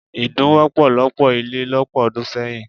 Idun wọ́pọ̀ lọ́pọ̀ ilé lọ́pọ̀ ọdún sẹ́yìn.